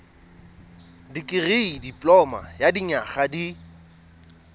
dikirii dipoloma ya dinyaga di